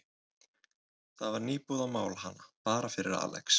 Það var nýbúið að mála hana, bara fyrir Alex.